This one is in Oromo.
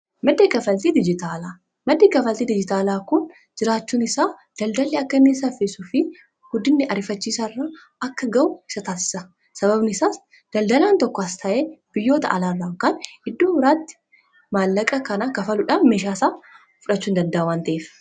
madda kkanfaltii dijjitaalaa, maddii kafaaltii diijitaalaa kun jiraachuun isaa daldaalii akkaa safisuufi guddiinnii ariifachiisaa irraa akka ga'u ni tasiisaa sabaabnii isaas daldalaan tokkoo as ta'ee biyyoota alaarraa yookiin kan iddoo birraa iraatti maallaqa kana kafaaluudhaan meeshaa isaa fudhachuu hin daddaa'a wan ta'eef.